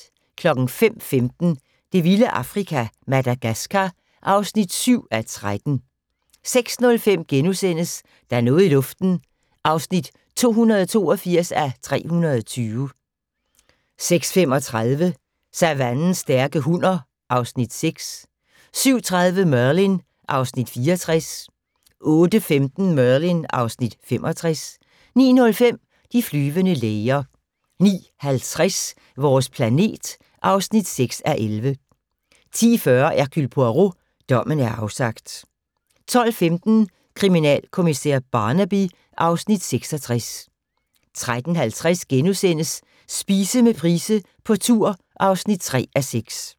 05:15: Det vilde Afrika - Madagascar (7:13) 06:05: Der er noget i luften (282:320)* 06:35: Savannens stærke hunner (Afs. 6) 07:30: Merlin (Afs. 64) 08:15: Merlin (Afs. 65) 09:05: De flyvende læger 09:50: Vores planet (6:11) 10:40: Hercule Poirot: Dommen er afsagt 12:15: Kriminalkommissær Barnaby (Afs. 66) 13:50: Spise med Price på tur (3:6)*